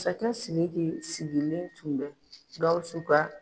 sigilen tun bɛ Gawsu ka